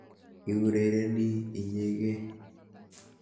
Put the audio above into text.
Iurereni inyegei.